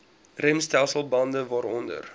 remstelsel bande waaronder